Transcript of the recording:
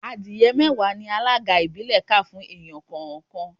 Adìẹ mẹ́wàá ni alága ìbílẹ̀ kà fún ẹnì kọ̀ọ̀kan